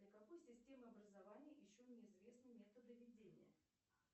для какой системы образования еще не известны методы ведения